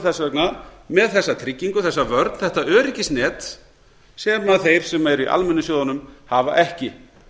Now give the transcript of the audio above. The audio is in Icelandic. þess vegna með þessa tryggingu þessa vörn þetta öryggisnet sem þeir sem eru í almennu sjóðunum hafa ekki